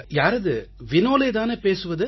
யாரது வினோலே தானே பேசுவது